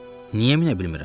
Niyə minə bilmirəm?